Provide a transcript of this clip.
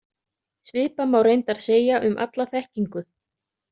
Svipað má reyndar segja um alla þekkingu.